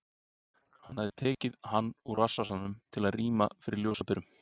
Hann hafði tekið hann úr rassvasanum til að rýma fyrir ljósaperunum.